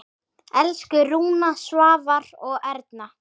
Elsku Rúna, Svavar og Erna.